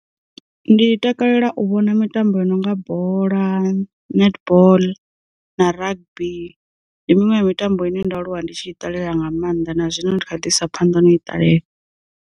Ndi takalela u vhona mitambo ya nonga bola, netball, na rugby. Ndi miṅwe ya mitambo ine ndo aluwa ndi tshi iṱalela nga maanḓa na zwino ndi kha ḓi isa phanḓa na i ṱalela.